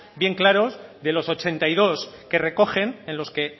bien claros de los ochenta y dos que recogen en los que